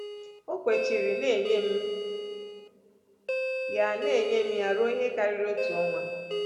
O kwechiri na-enye m ya na-enye m ya ruo ihe karịrị otu ọnwa.